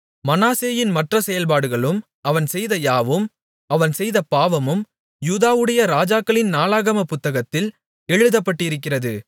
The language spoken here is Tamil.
மனாசேயின் மற்ற செயல்பாடுகளும் அவன் செய்த யாவும் அவன் செய்த பாவமும் யூதாவுடைய ராஜாக்களின் நாளாகமப் புத்தகத்தில் எழுதப்பட்டிருக்கிறது